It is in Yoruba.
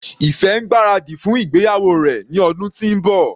Ife ń gbáradì fún ìgbéyàwó rẹ̀ ní ọdún tí ń bọ̀.